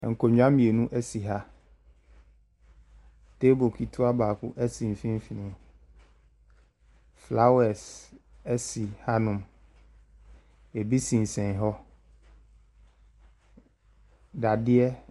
Ɛkonnywa mienu esi ha tebel ketoa baako esi mfinifini flawɛs esi ha no mo ebi sensɛn hɔ dadeɛ.